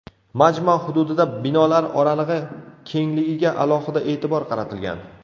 Majmua hududida binolar oralig‘i kengligiga alohida e’tibor qaratilgan.